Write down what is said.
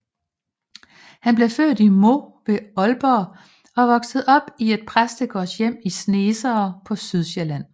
Han blev født i Mou ved Aalborg og voksede op i et præstegårdshjem i Snesere på Sydsjælland